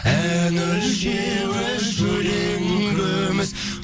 ән өлшеуіш өлең күміс